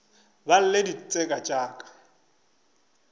ba lle ditseka tša ka